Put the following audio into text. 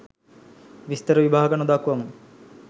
විස්තර විභාග නොදක්වමු.